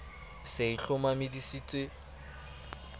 se e hlomamisitse di nlb